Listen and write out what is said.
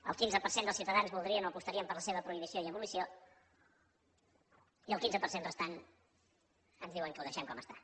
el quinze per cent dels ciutadans voldrien o apostarien per la seva prohibició i abolició i el quinze per cent restant ens diuen que ho deixem com està